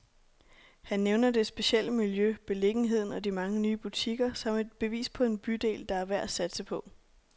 Han nævner det specielle miljø, beliggenheden og de mange nye butikker, som et bevis på en bydel, der er værd at satse på.